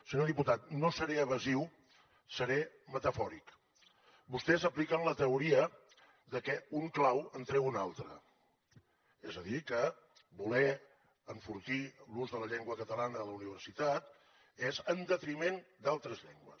senyor diputat no seré evasiu seré metafòric vostès apliquen la teoria que un clau en treu un altre és a dir que voler enfortir l’ús de la llengua catalana a la universitat és en detriment d’altres llengües